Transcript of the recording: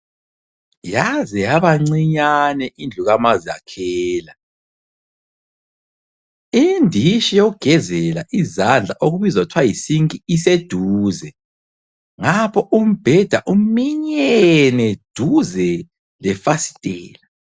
Yaze yabancinyane indlu kamazakhela, inditshi yokugezela izandla okubizwa kuthwa yisinki iseduze ngapha umbheda uminyene duze lefasitela.